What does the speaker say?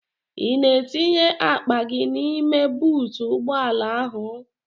Ị na-etinye akpa gị n'ime buutu ụgbọala ahụ?